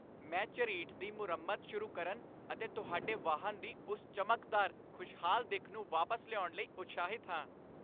ਮੈਂ ਝਰੀਟ ਦੀ ਮੁਰੰਮਤ ਸ਼ੁਰੂ ਕਰਨ ਅਤੇ ਤੁਹਾਡੇ ਵਾਹਨ ਦੀ ਉਸ ਚਮਕਦਾਰ, ਖੁਸ਼ਹਾਲ ਦਿੱਖ ਨੂੰ ਵਾਪਸ ਲਿਆਉਣ ਲਈ ਉਤਸ਼ਾਹਿਤ ਹਾਂ!